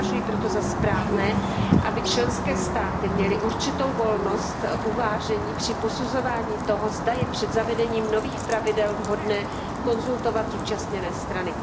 Považuji proto za správné, aby členské státy měly určitou volnost uvážení při posuzování toho, zda je před zavedením nových pravidel vhodné konzultovat zúčastněné strany.